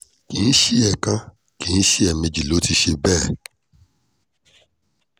kì í ṣe ẹ̀ẹ̀kan kì í ṣe ẹ̀ẹ̀mejì ló ti ṣe bẹ́ẹ̀